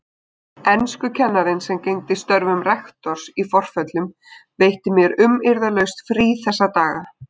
Enskukennarinn sem gegndi störfum rektors í forföllum veitti mér umyrðalaust frí þessa daga.